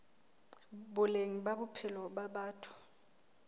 boleng ba bophelo ba batho